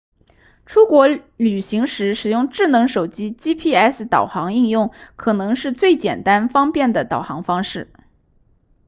出国旅行时使用智能手机 gps 导航应用可能是最简单方便的导航方式